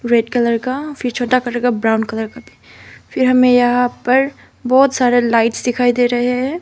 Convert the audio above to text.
Red colour का फिर छोटा ब्राउन कलर का भी फिर हमें यहां पर बहुत सारे लाइट्स दिखाई दे रहे हैं।